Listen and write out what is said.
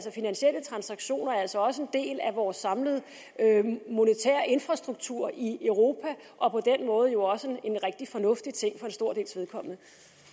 finansielle transaktioner er altså også en del af vores samlede monetære infrastruktur i europa og på den måde jo også en rigtig fornuftig ting